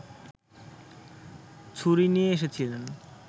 ছুরি নিয়ে এসেছিলেন